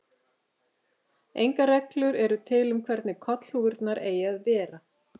Engar reglur eru til um hvernig kollhúfurnar eigi að vera.